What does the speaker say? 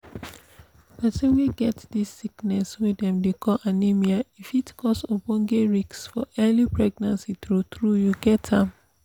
persin wey get this sickness wey dem dey call anemia e fit cause ogboge risks for early pregnancy true true you get am